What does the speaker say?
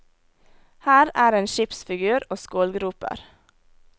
Her er en skipsfigur og skålgroper.